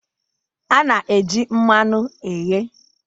A na-eji mmanụ eghe